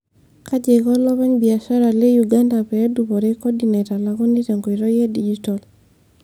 Kaji eiko lopeny biashara le Uganda pee edupore kodi naitalakuni tenkoitoi e dijital